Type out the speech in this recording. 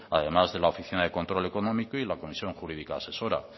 además de a la oficina de control económico y la comisión jurídica asesora